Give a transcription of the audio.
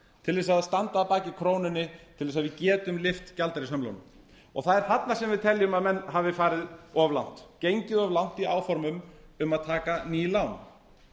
til þess að standa að baki krónunni til þess að við getum lyft gjaldeyrishömlunum það er þarna sem við teljum að menn hafi farið of langt gengið of langt í áformum um að taka ný lán